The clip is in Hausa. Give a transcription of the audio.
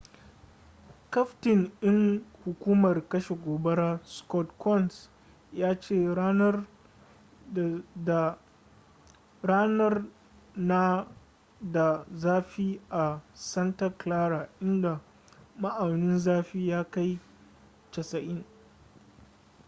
kaftin ɗin hukumar kashe gobara scott kouns ya ce ranar na da zafi a santa clara inda ma'aunin zafi ya kai 90